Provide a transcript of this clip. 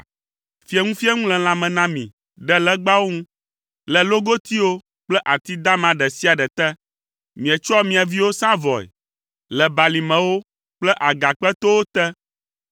Fieŋufieŋu le lãme na mi ɖe legbawo ŋu, le logotiwo kple ati dama ɖe sia ɖe te. Mietsɔa mia viwo sãa vɔe le balimewo kple agakpetowo te.